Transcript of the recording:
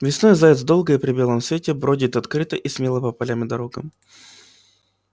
весной заяц долго и при белом свете бродит открыто и смело по полям и дорогам